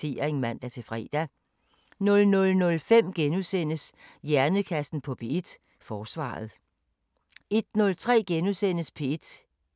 21:03: Sommeraften (man-fre) 23:03: P3 med Anna Lin og Camilla Boraghi